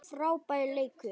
Frábær leikur.